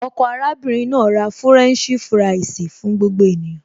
Ọkọ arábìnrin náà ra fúrẹ́ǹṣì fúráìsì fún gbogbo ènìyàn